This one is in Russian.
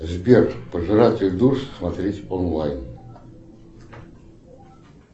сбер пожиратель душ смотреть онлайн